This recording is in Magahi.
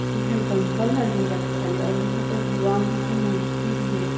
यहाँ डम्बल अर भी रखल है और यहाँ पे भगवान जी के मूर्ति भी हैI